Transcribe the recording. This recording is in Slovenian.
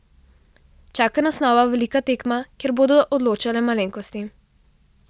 Čaka nas nova velika tekma, kjer bodo odločale malenkosti.